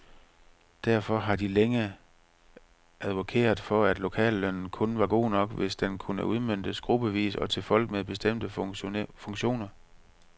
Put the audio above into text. Derfor har de længe advokeret for, at lokallønnen kun var god nok, hvis den kunne udmøntes gruppevis og til folk med bestemte funktioner.